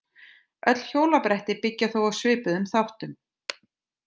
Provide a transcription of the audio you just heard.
Öll hjólabretti byggja þó á svipuðum þáttum.